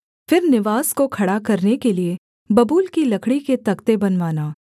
फिर निवास को खड़ा करने के लिये बबूल की लकड़ी के तख्ते बनवाना